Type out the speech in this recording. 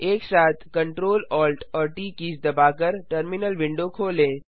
एक साथ Ctrl Alt और ट कीज़ दबाकर टर्मिनल विंडो खोलें